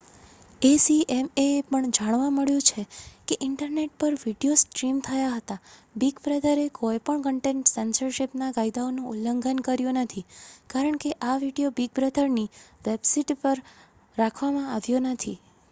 acma ને એ પણ જાણવા મળ્યુ છે કે ઈન્ટરનેટ પર વિડિઓ સ્ટ્રીમ થયા છતાં બિગ બ્રધરએ કોઈ પણ કન્ટેન્ટ સેન્સરશીપ ના કાયદાઓ નું ઉલ્લંઘન કર્યુ નથી કારણ કે આ વિડિઓ બિગ બ્રધર ની વેબ્સિતે પર રાખવા માં આવ્યો નથી